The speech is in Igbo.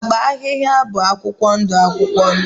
Agba ahịhịa bụ akwụkwọ ndụ akwụkwọ ndụ